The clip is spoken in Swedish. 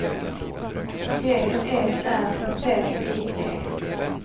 G E R T I E